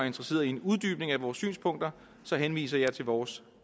interesseret i en uddybning af vores synspunkter henviser jeg til vores